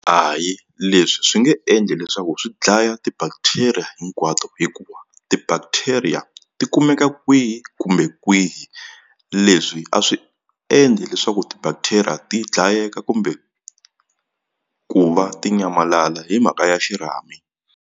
Hayi leswi swi nge endli leswaku swi dlaya ti-bacteria hinkwato hikuva ti-bacteria ti kumeka kwihi kumbe kwihi leswi a swi endli leswaku ti-bacteria ti dlayeka kumbe ku va ti nyamalala hi mhaka ya xirhami.